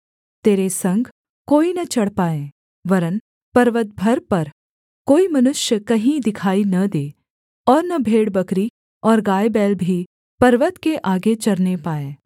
तेरे संग कोई न चढ़ पाए वरन् पर्वत भर पर कोई मनुष्य कहीं दिखाई न दे और न भेड़बकरी और गायबैल भी पर्वत के आगे चरने पाएँ